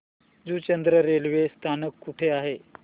Juchandra railway स्थानक कुठे आहे